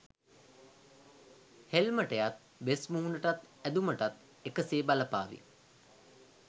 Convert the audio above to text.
හෙල්මටයත් වෙස්මුහුණටත් ඇදුමටත් එක සේ බලපාවි.